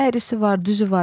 Əyrisi var, düzü var.